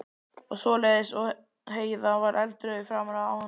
og svoleiðis, og Heiða varð eldrauð í framan af ánægju.